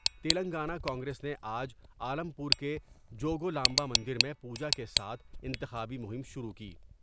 تلنگانہ کانگریس نے آج عالم پور کے جو گولامبا مندر میں پوجاکے ساتھ انتخابی مہم شروع کی ۔